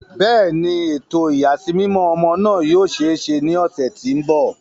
Bẹẹni, eto iyasimimọ ọmọ naa yoo ṣee ṣe ni oṣu ti n bọ.